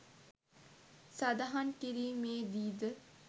සඳහන් කිරීමේදී ද